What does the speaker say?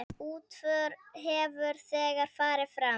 Útför hefur þegar farið fram.